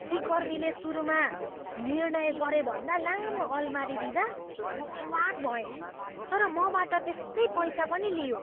सिकर्मीले सुरुमा निर्णय गरेभन्दा लामो अलमारी दिँदा म अवाक भएँ, तर मबाट त्यस्तै पैसा पनि लियो।